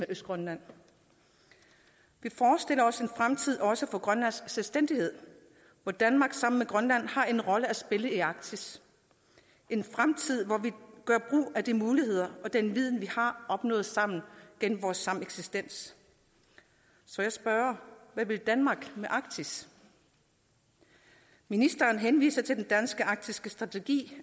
østgrønland vi forestiller os en fremtid også for grønlands selvstændighed hvor danmark sammen med grønland har en rolle at spille i arktis en fremtid hvor vi gør brug af de muligheder og den viden vi har opnået sammen gennem vores sameksistens så jeg spørger hvad vil danmark med arktis ministeren henviser til den danske arktiske strategi